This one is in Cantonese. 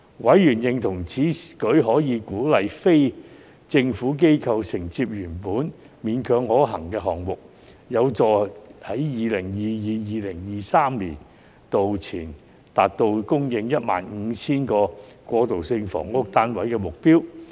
委員認同此舉可鼓勵非政府機構承接原本勉強可行的項目，有助在 2022-2023 年度前達到供應 15,000 個過渡性房屋單位的目標。